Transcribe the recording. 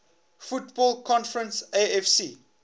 football conference afc